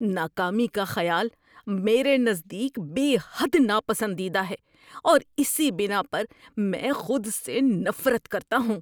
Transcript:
ناکامی کا خیال میرے نزدیک بے حد ناپسندیدہ ہے اور اسی بنا پر میں خود سے نفرت کرتا ہوں۔